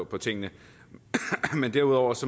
på tingene men derudover